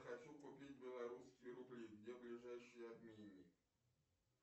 хочу купить белорусские рубли где ближайший обменник